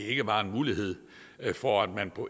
ikke var en mulighed for at man på